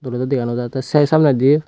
ebot dega nojattey sai samnedi.